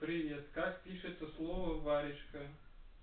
привет как пишется слово варежка